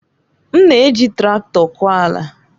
M na-eji traktọ kọọ ala.